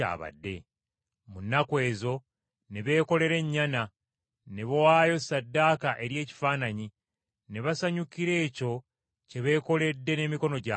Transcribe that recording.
Mu nnaku ezo, ne beekolera ennyana, ne bawaayo ssaddaaka eri ekifaananyi, ne basanyukira ekyo kye beekoledde n’emikono gyabwe.